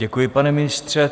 Děkuji, pane ministře.